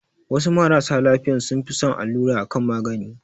Wasu marasa lafiyan sun fi son allura a kan magani